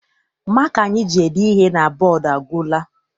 Maka anyị ji ede ihe na bọdu agwụla.